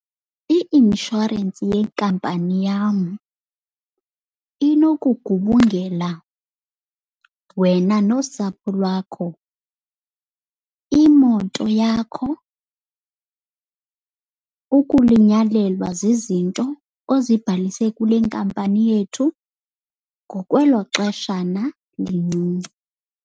I-inshorensi yenkampani yam inokugubungela wena nosapho lwakho, imoto yakho, ukulinyalelwa zizinto ozibhalise kule nkampani yethu ngokwelo xeshana lincinci.